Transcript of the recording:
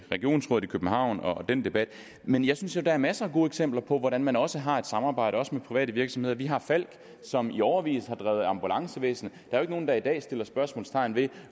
regionsrådet i københavn og den debat men jeg synes jo der er masser af gode eksempler på hvordan man også har et samarbejde med private virksomheder vi har falck som i årevis har drevet ambulancevæsen der er nogen der i dag sætter spørgsmålstegn ved